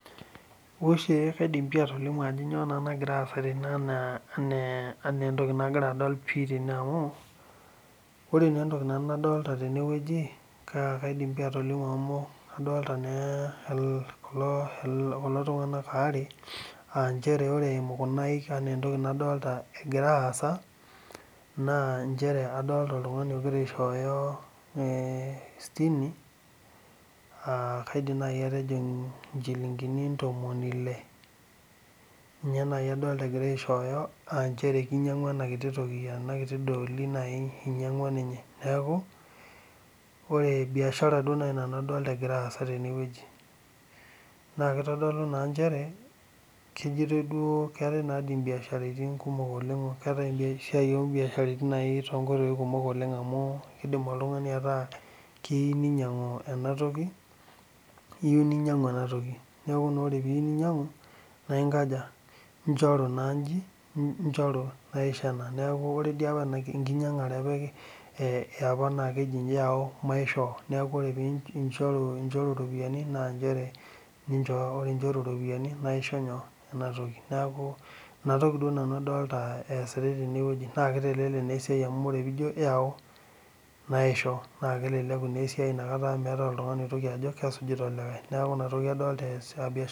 Ore kaidim atolimu ano kanyio nagira aasa tene ana entoki nagira adol tene na ore entokinaidim atolimu tenewueji a Kadolta kulo tunganak aare aa ore eimu kuna aaik nagira aasa na nchere Adolta oltungani ogira aishooyo sitimi aa matejo nchilingini aa kinyangua enakiti dooli neaku ore biashara nai adolita nanu egira aasa tene keetae esiai ombiasharani tonkoitoi kumol amu indim oltungani aataa keyieu ninyangu enatoki neaku ore peaku iyieu neaku ore ena enkinyangare eapa na kehi yau maishoo neakuvore pinchoru ropiyani naisho enatoki neaku enatoki nanu adolita easitae tenewueji na kitelelek esiai amu meatae oltungani oigil ajo kesujuitae olikae neaku inatoki adolita easitae.